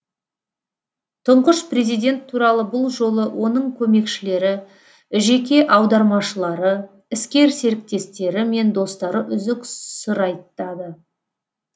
тұңғыш президент туралы бұл жолы оның көмекшілері жеке аудармашылары іскер серіктестері мен достары үзік сыр айтады